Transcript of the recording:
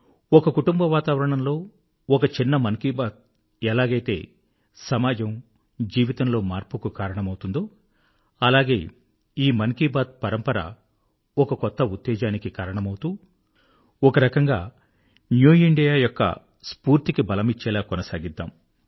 ఒక కుటుంబవాతావరణంలో ఒక చిన్న మన్ కీ బాత్ ఎలాగైతే సమాజం జీవనములలో మార్పుకు కారణం అవుతుందో అలాగే ఈ మన్ కీ బాత్ పరంపర ఒక కొత్త స్పిరిట్ కి కారణమౌతూ ఒక రకంగా న్యూ ఇండియా యొక్క స్పిరిట్ కు బలమిచ్చేలా కొనసాగనిద్దాం